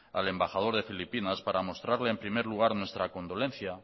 al embajador de filipinas para mostrarle en primer lugar nuestra condolencia